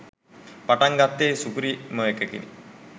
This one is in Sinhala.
පටන් ගත්තෙ සුපිරිමඑකකින්.